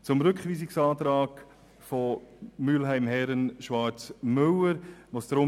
Den Rückweisungsantrag Mühlheim/Herren/Schwarz/Müller nehmen wir einstimmig an.